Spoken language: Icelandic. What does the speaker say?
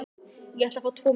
Ég ætla að fá tvo miða.